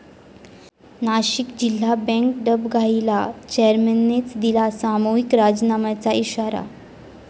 नाशिक जिल्हा बँक डबघाईला, चेअरमननेच दिला सामूहिक राजीनाम्यांचा इशारा